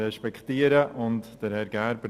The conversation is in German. Deshalb wählen wir Herrn Gerber.